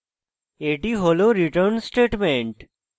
এটি হল return statement